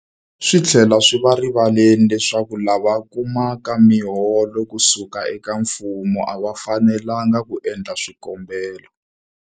Swi tlhela swi va erivaleni leswaku lava kumaka miholo ku suka eka mfumo a va fanelanga ku endla swikombelo.